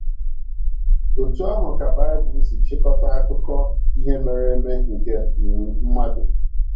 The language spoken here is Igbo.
Otú ahụ ka Bible si chịkọta akụkọ ihe mere eme nke um mmadụ.